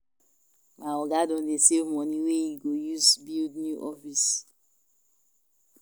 My oga don dey save money wey im go use build new office.